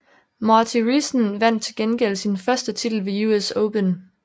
Marty Riessen vandt til gengæld sin første titel ved US Open